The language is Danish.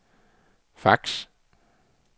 fax